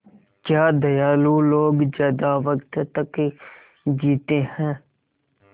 क्या दयालु लोग ज़्यादा वक़्त तक जीते हैं